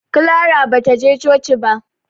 Clara ba ta je coci ba.